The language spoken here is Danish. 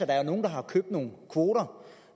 der er nogle der har købt nogle kvoter